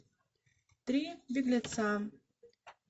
три беглеца